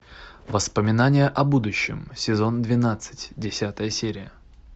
воспоминания о будущем сезон двенадцать десятая серия